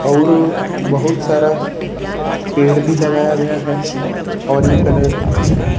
औरु बहुत सारा पेड़ भी लगाया गया है ऑरेंज कलर ।